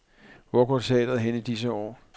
Hvor går teatret hen i disse år?